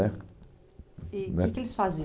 é, né, e o que que eles faziam?